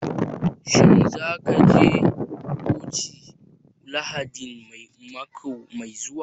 Shin za ka je coci Lahadin mako mai zuwa